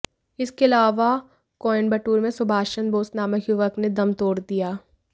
इसके अलावा कोयंबटूर में सुभाष चंद्र बोस नामक युवक ने दम तोड़ दिया